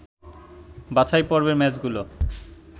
বাছাই পর্বের ম্যাচগুলো